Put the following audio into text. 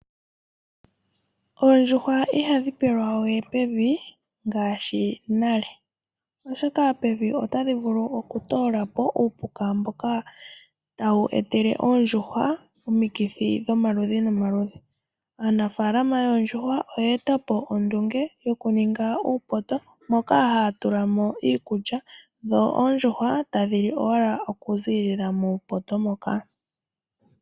Oondjuhwa ihadhi pelwa we pevi ngaashi nale oshoka pevi otadhivulu oku toolapo uupuka mboka tawu etele ondjuhwa omikithi dhomaludhi nomaludhi. Aanafaalama yoondjuhwa oye etapo ondunge yokuninga uupoto moka haya tulamo iikulya dho oondjuhwa tadhili owala okuziilila muupoto moka